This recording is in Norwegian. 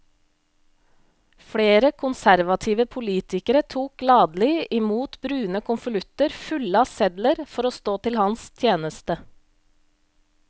Flere konservative politikere tok gladelig i mot brune konvolutter fulle av sedler for å stå til hans tjeneste.